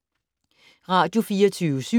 Radio24syv